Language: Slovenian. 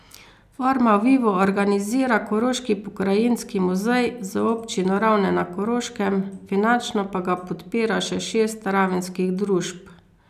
Forma vivo organizira Koroški pokrajinski muzej z občino Ravne na Koroškem, finančno pa ga podpira še šest ravenskih družb.